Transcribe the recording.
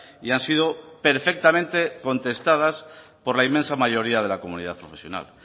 y han sido perfectamente contestadas por la inmensa mayoría de la comunidad profesional